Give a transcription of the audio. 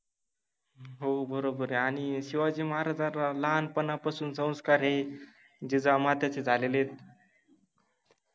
हो बरोबर आहे आणि शिवाजि महाराजांला लहानपणा पासुन संस्कार हे जिजामाताचे झालेले आहेत.